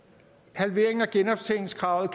at halveringen af genoptjeningskravet